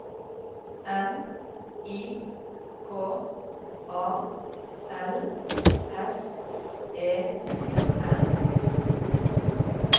M I K A L S E N